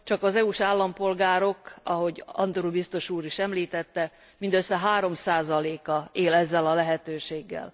Csak az EU s állampolgárok ahogy Andor biztos úr is említette mindössze 3 a él ezzel a lehetőséggel.